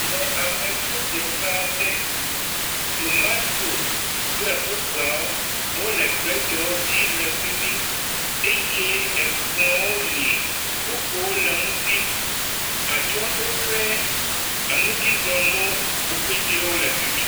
le amedro dzeƒe aɖe tomatoes kple bubuawo wóle bredwo dzi lɛ fimi eye ekplɔ̃wó li kpukpuwo le eŋuti atsɔɖoƒɛ enudzizɔnuwo pɛtɛ wóle fimj